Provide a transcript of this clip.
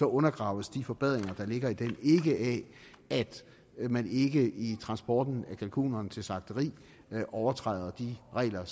undergraves de forbedringer der ligger i den ikke af at man i i transporten af kalkunerne til slagteriet overtræder de regler